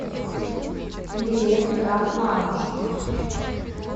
билет крафт лаундж